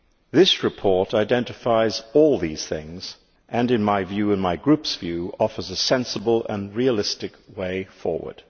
This report identifies all these things and, in my view and my group's view, it offers a sensible and realistic way forward.